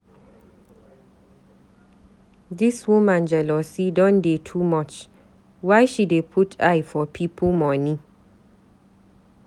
Dis woman jealousy don dey too much, why she dey put eye for pipu moni?